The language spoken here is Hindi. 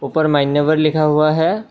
ऊपर मान्यवर लिखा हुआ है।